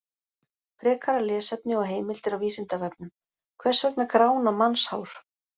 Frekara lesefni og heimildir á Vísindavefnum: Hvers vegna grána mannshár?